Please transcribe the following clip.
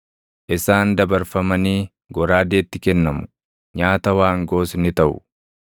Isaan dabarfamanii goraadeetti kennamu; nyaata waangoos ni taʼu.